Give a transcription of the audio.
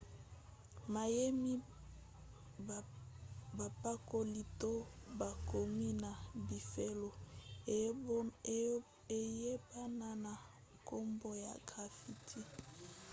mayemi bapakoli to bakomi na bifelo eyebana na nkombo ya graffiti